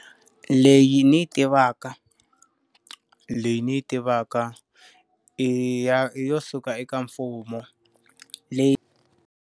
Leyi ni yi tivaka. Leyi ni yi tivaka i ya i yo suka eka mfumo, leyi.